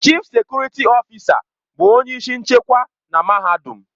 Chịf sekurịtị ọfịsa bụ onye isi nchekwa na mahadum.